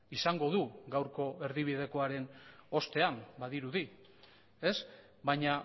izango du gaurko erdibidekoaren ostean badirudi ez baina